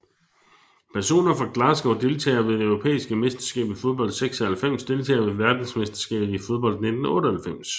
Personer fra Glasgow Deltagere ved det europæiske mesterskab i fodbold 1996 Deltagere ved verdensmesterskabet i fodbold 1998